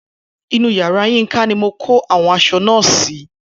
Inú yàrá Yínka ni mo kó àwọn aṣọ náà sí